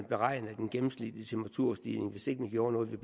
beregnet den gennemsnitlige temperaturstigning hvis ikke man gjorde noget og